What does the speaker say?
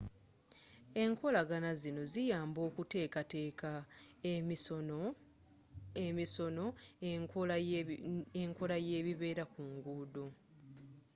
enkolagana zinno ziyamba mu kuteekateeka emisono n'enkola y'ebibeera ku nguudo